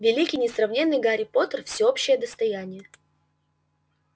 великий несравненный гарри поттер всеобщее достояние